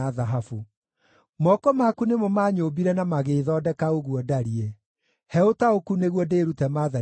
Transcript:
Moko maku nĩmo manyũmbire na magĩĩthondeka ũguo ndariĩ; he ũtaũku nĩguo ndĩĩrute maathani maku.